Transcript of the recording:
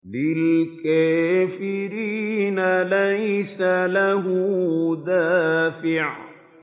لِّلْكَافِرِينَ لَيْسَ لَهُ دَافِعٌ